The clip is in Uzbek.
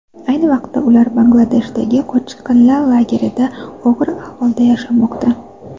Ayni paytda ular Bangladeshdagi qochqinlar lagerlarida og‘ir ahvolda yashamoqda.